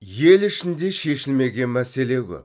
ел ішінде шешілмеген мәселе көп